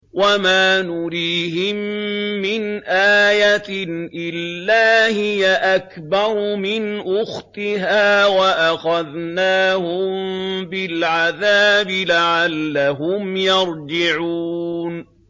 وَمَا نُرِيهِم مِّنْ آيَةٍ إِلَّا هِيَ أَكْبَرُ مِنْ أُخْتِهَا ۖ وَأَخَذْنَاهُم بِالْعَذَابِ لَعَلَّهُمْ يَرْجِعُونَ